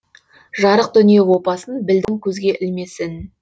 жарық дүние опасын білдім көзге ілмесін